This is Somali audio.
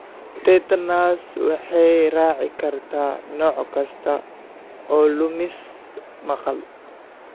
Tinnitus waxay raaci kartaa nooc kasta oo lumis maqal.